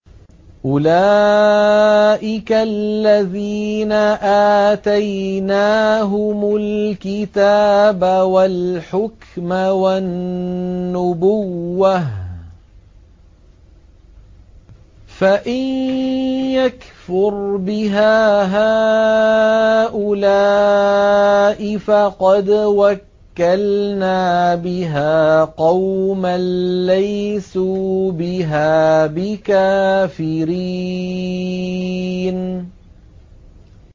أُولَٰئِكَ الَّذِينَ آتَيْنَاهُمُ الْكِتَابَ وَالْحُكْمَ وَالنُّبُوَّةَ ۚ فَإِن يَكْفُرْ بِهَا هَٰؤُلَاءِ فَقَدْ وَكَّلْنَا بِهَا قَوْمًا لَّيْسُوا بِهَا بِكَافِرِينَ